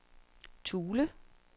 Thule